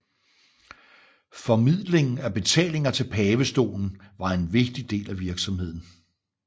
Formidling af betalinger til pavestolen var en vigtig del af virksomheden